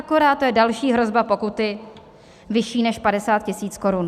Akorát to je další hrozba pokuty, vyšší než 50 000 korun.